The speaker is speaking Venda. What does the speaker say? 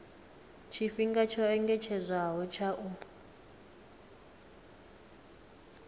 tshifhinga tsho engedzedzwaho tsha u